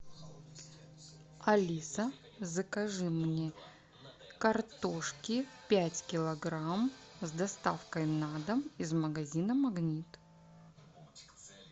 алиса закажи мне картошки пять килограмм с доставкой на дом из магазина магнит